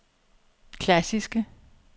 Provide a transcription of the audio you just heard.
klassiske